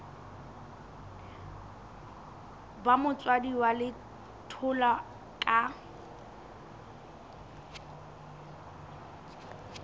ba motswadi wa letholwa ka